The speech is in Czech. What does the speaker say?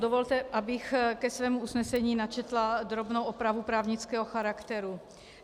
Dovolte, abych ke svému usnesení načetla drobnou opravu právnického charakteru.